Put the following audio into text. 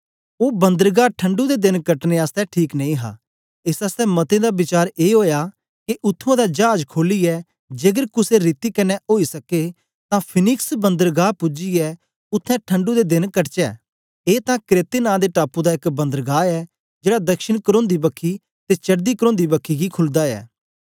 ओ बंदरगाह ठणढु दे देन कटने आसतै ठीक नेई हा एस आसतै मतें दा बिचार ए ओया के उत्त्थुआं दा चाज खोलियै जेकर कुसे रीति कन्ने ओई सके तां फिनिक्स बंदरगाह पूजियै उत्थें ठणढु दे देन कटचै ए तां क्रेते नां दे टापू दा एक बंदरगाह ऐ जेड़ा दक्षिण करोंदी बखी ते चडदी करोंदी बखी गी खुलदा ऐ